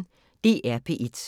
DR P1